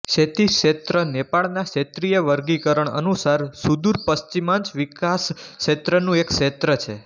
સેતી ક્ષેત્ર નેપાળના ક્ષેત્રીય વર્ગીકરણ અનુસાર સુદુર પશ્ચિમાંચ વિકાસ ક્ષેત્રનું એક ક્ષેત્ર છે